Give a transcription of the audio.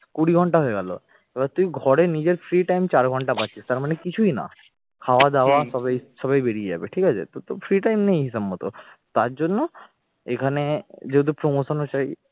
কুড়ি ঘন্টা হয়ে গেল এবার তুই ঘরে নিজের free time চার ঘন্টা পাচ্ছিস, তার মানে কিছুই না খাওয়া দাওয়া সবেই এই সবেই বেরিয়ে যাবে ঠিক আছে তো free time নেই হিসাব মত তার জন্য এখানে যেহেতু promotion ও চাই